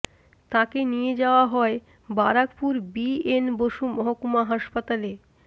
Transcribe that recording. তাঁকে নিয়ে যাওয়া হয় বারাকপুর বি এন বসু মহকুমা হাসপাতালে